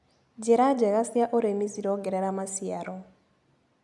Njĩra njega cia ũrĩmi cirongerera maciaro.